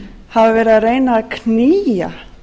hafa verið að reyna að knýja